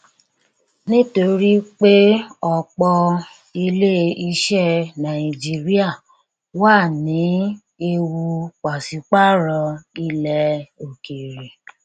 nítorí pé ọpọ ilé iṣẹ nàìjíríà wà nẹe ewu pàṣípàrọ ilẹ òkèèrè